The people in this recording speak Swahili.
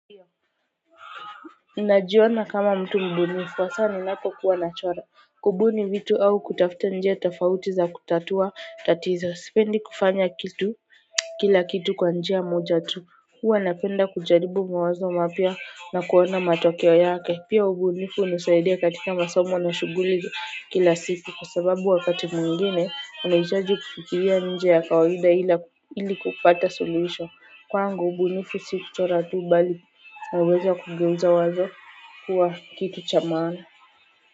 Najiona kama mtu mbunifu hasaa ninapokuwa nachora. Kubuni vitu au kutafuta njia tofauti za kutatua tatizo sipendi kufanya kitu kila kitu kwa njia moja tu huwa napenda kujaribu mawazo mapia na kuona matokeo yake pia ubunifu hunisaidia katika masomo na shuguli kila siku kwa sababu wakati mwingine unaitaji kufikiria nje ya kawaida ili kupata solution kwangu ubunifu si kuchora tu bali naweza kugeuza wazo kuwa kitu cha maana.